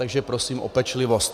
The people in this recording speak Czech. Takže prosím o pečlivost.